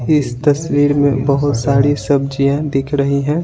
इस तस्वीर में बहुत सारी सब्जियां दिख रही हैं।